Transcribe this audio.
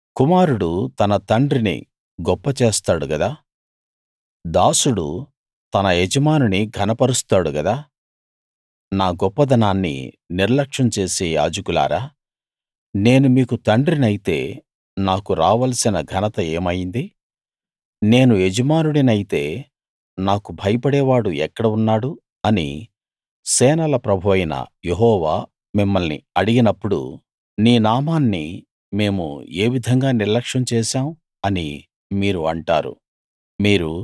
కుమారుడు తన తండ్రిని గొప్ప చేస్తాడు గదా దాసుడు తన యజమానుని ఘనపరుస్తాడు గదా నా గొప్పదనాన్ని నిర్లక్ష్యం చేసే యాజకులారా నేను మీకు తండ్రినైతే నాకు రావలసిన ఘనత ఏమయింది నేను యజమానుడినైతే నాకు భయపడేవాడు ఎక్కడ ఉన్నాడు అని సేనల ప్రభువైన యెహోవా మిమ్మల్ని అడిగినప్పుడు నీ నామాన్ని మేము ఏ విధంగా నిర్లక్ష్యం చేశాం అని మీరు అంటారు